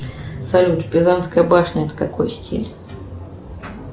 салют пизанская башня это какой стиль